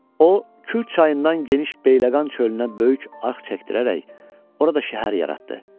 O Kür çayından geniş Bəyləqan çölünə böyük arx çəkdirərək orada şəhər yaratdı.